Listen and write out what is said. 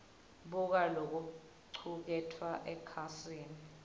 buka lokucuketfwe ekhasini